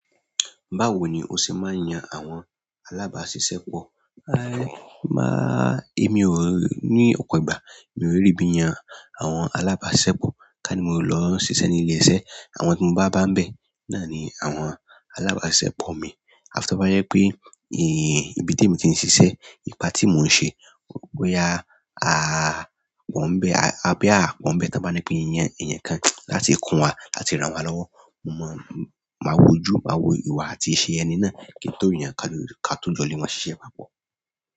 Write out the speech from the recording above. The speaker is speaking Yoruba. Báwo ni o ṣe máa ń yan àwọn alábàáṣiṣẹ́ pọ̀? Máa-- èmi ò ní ọ̀pọ̀ ìgbà. Mi ò really bí n yan àwọn alábáṣepọ̀, ká ní mo lọ n ṣiṣẹ́ ní ilé iṣẹ́. Àwọn ti mo ba ba nbe náà ni àwọn alabasisepo mi a fi to bá jẹ pé, ibi tí èmi ti ń ṣiṣẹ́, ipa tí mò ń ṣe, boya, a po n bẹ́. Boya à a po n bẹ́ tan bá ní pé n yan eeyan kan láti kun wá, láti rán wọn lọ́wọ́. Mo mọ, máa wojú, máa wo ìwà àti iṣẹ́ ẹni náà kí n tó yàn ká tó jọ́ le maa ṣíṣe pápọ̀.